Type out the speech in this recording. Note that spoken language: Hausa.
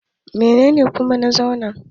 Menene Zuma ke kera?